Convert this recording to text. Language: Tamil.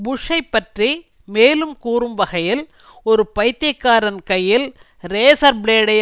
புஷ்ஷை பற்றி மேலும் கூறும் வகையில் ஒரு பைத்தியக்காரன் கையில் ரேசர் பிளேடை